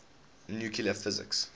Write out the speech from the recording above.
nuclear physics